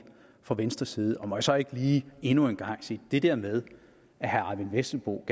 fra venstres side må jeg så ikke lige endnu en gang sige det der med at herre eyvind vesselbo